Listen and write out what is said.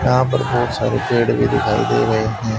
यहां पर बोहुत सारे पेड़ भी दिखाई दे रहे हैं।